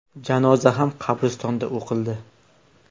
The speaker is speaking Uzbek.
Janoza ham qabristonda o‘qildi.